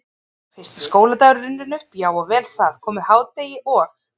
Fyrsti skóladagur er runninn upp, já og vel það, komið hádegi og